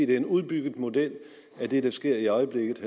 det er en udbygget model af det der sker i øjeblikket